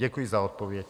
Děkuji za odpověď.